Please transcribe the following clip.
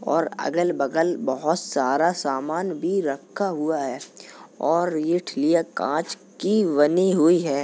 और अगल-बगल बहोत सारा सामान भी रखा हुआ है और ये ठिलीया कांच का बनी हुई है।